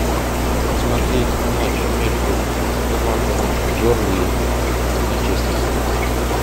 смотреть матч между командами бернли манчестер